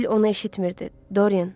Sibil onu eşitirdi, Dorian?